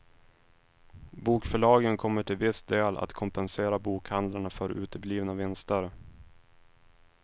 Bokförlagen kommer till viss del att kompensera bokhandlarna för uteblivna vinster.